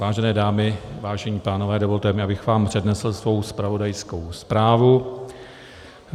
Vážené dámy, vážení pánové, dovolte mi, abych vám přednesl svou zpravodajskou zprávu.